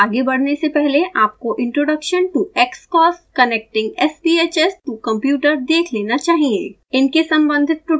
इस ट्यूटोरियल में आगे बदने से पहले आपको introduction to xcos connecting sbhs to computer देख लेना चाहिए